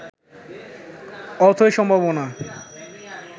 অথৈ সম্ভাবনা